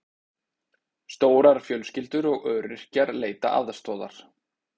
Stórar fjölskyldur og öryrkjar leita aðstoðar